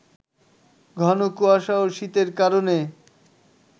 ঘনকুয়াশা ও শীতের কারণে